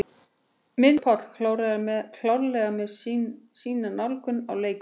Miðjumenn: Haukur Páll klárlega með sína nálgun á leikinn.